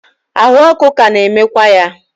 ahụ ọkụ ka na-enwekwa ya.